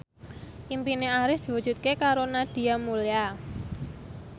impine Arif diwujudke karo Nadia Mulya